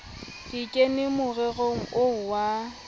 ke kene morerong oo wa